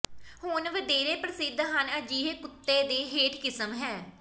ਹੁਣ ਵਧੇਰੇ ਪ੍ਰਸਿੱਧ ਹਨ ਅਜਿਹੇ ਕੁੱਤੇ ਦੇ ਹੇਠ ਕਿਸਮ ਹੈ